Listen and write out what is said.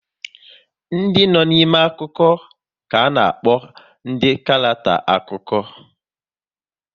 Ndị no n'ime akụkọ ka ana-akpọ ndị karackter akụkọ